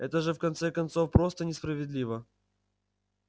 это же в конце концов просто несправедливо